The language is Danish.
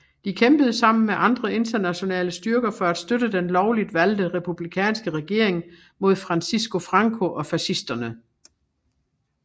De kæmpede sammen med andre internationale styrker for at støtte den lovligt valgte republikanske regering mod Francisco Franco og fascisterne